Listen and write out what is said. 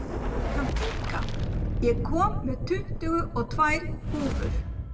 Kathinka, ég kom með tuttugu og tvær húfur!